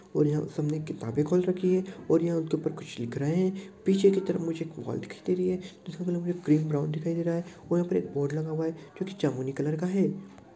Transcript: और यहाँ सबने किताबें खोल रखीं है और यहाँ उनके ऊपर कुछ लिख रहे है पीछे की तरफ मुझे एक हॉल दिखाई दे रही है जिसका कलर हमें ग्रीन ब्राउन दिखाई दे रहा है और यहाँ पर एक बोर्ड लगा है जोकि जामुनी कलर का है।